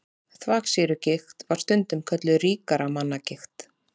Þvagsýrugigt var stundum kölluð ríkra manna gigt.